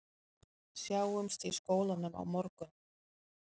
Sjáumst í skólanum á morgun